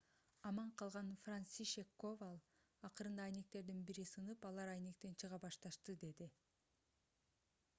аман калган францишек коваль акырында айнектердин бири сынып алар айнектен чыга башташты - деди